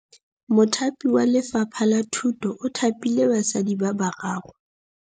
Mothapi wa Lefapha la Thutô o thapile basadi ba ba raro.